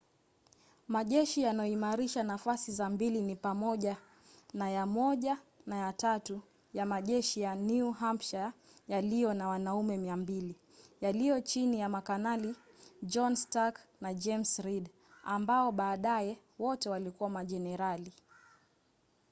majeshi yanayoimarisha nafasi za mbele ni pamoja na ya 1 na ya 3 ya majeshi ya new hampshire yaliyo na wanaume 200 yaliyo chini ya makanali john stark na james reed ambao baadaye wote walikuwa majenerali